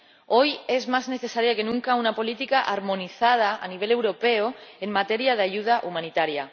Hoy es más necesaria que nunca una política armonizada a nivel europeo en materia de ayuda humanitaria.